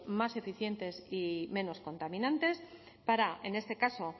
más eficientes y menos contaminantes para en este caso